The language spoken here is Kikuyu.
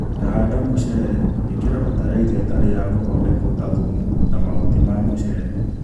tanahanda mũcere ĩkĩra bataraitha ĩtari ya gũthondekwo ta thumu na mahuti ma mũcere.